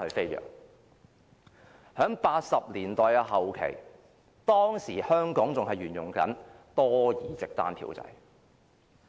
在1980年代後期，當時香港仍然沿用多議席單票制。